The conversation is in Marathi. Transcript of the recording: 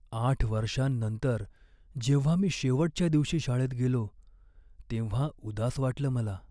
आठ वर्षांनंतर जेव्हा मी शेवटच्या दिवशी शाळेत गेलो, तेव्हा उदास वाटलं मला.